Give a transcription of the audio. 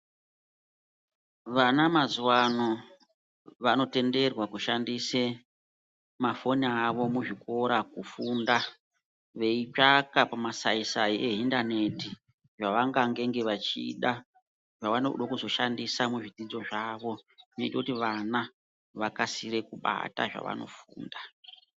Vana mazuwano vanotenderwa kushandise mafoni avo muzvikora kufunda, veitsvaka pamasai sai ehindaneti zvavangangenge vachida zvavanode kuzoshandisa muzvidzidzo zvavo nekuti vana vakasire kubata zvavanofunda.